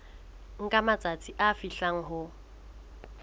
nka matsatsi a fihlang ho